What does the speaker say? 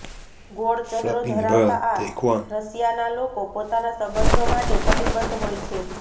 ગોળ ચહેરો ધરાવતા આ રાશિના લોકો પોતાના સંબંધો માટે કટિબદ્ધ હોય છે